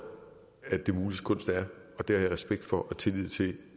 at det muliges kunst er og det har jeg respekt for og tillid til